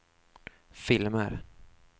filmer